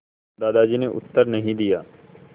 दादाजी ने उत्तर नहीं दिया